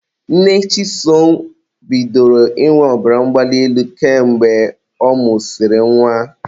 Nne Chisom bidoro ịnwe ọbara mgbali elu ka mgbe ọ mụsịrị nwa